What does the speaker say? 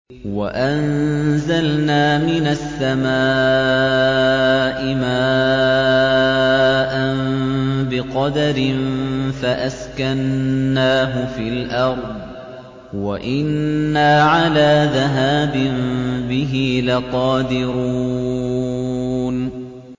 وَأَنزَلْنَا مِنَ السَّمَاءِ مَاءً بِقَدَرٍ فَأَسْكَنَّاهُ فِي الْأَرْضِ ۖ وَإِنَّا عَلَىٰ ذَهَابٍ بِهِ لَقَادِرُونَ